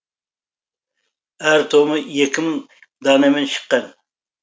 әр томы екі мың данамен шыққан